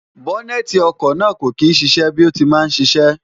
bọ́nẹ́ẹ̀ti ọkọ̀ náà kò kí ń ṣiṣẹ́ bí ó ti máa ń ṣiṣẹ́